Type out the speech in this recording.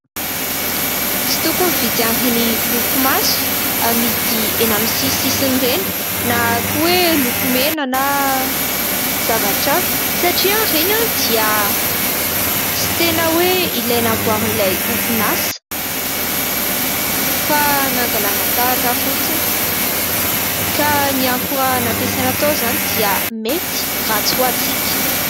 Tsy tokony mividy ireny lokomaso amidy eny amin'ny sisintsisiny ireny, na koa hoe lokomena na zavatra hafa satria ireny dia tsy tena hoe ilay namboarin'ilay orinasa fa nangalana tahaka fotsiny ka ny akora nampiasaina tao izany dia mety ratsy ho antsika.